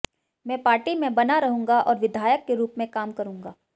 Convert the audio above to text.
मैं पार्टी में बना रहूंगा और विधायक के रूप में काम करूंगा